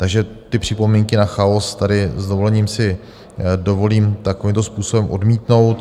Takže ty připomínky na chaos tady s dovolením si dovolím takovýmto způsobem odmítnout.